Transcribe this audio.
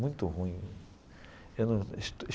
Muito ruim eu num.